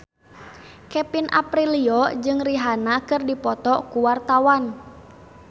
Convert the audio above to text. Kevin Aprilio jeung Rihanna keur dipoto ku wartawan